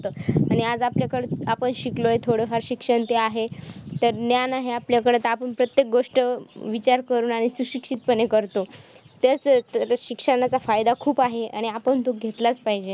आणि आज आपल्याकडे आपण शिकलोय थोडं फार शिक्षण ते आहे तर ज्ञान हे आपल्याकडे आहे तर आपण प्रत्येक गोष्ट विचार करून आणि सुशिक्षितपणे करतो. तसचं त्या शिक्षणाचा फायदा खूप आहे आणि तो आपण घेतलाचं पाहिजे.